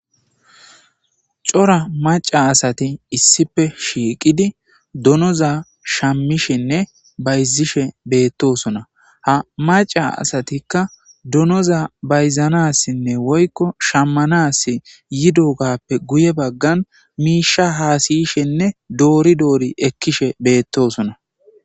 cora maca asati issife shiiqidi dunoza shammishenne bayzishe beettosona ha maca asatikka dunoza bayzanassinne woykko shammanas yidogappe guye baggan miisha haasiyishenne doori doori ekkishe beettosona